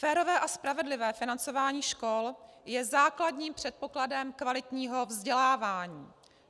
Férové a spravedlivé financování škol je základním předpokladem kvalitního vzdělávání.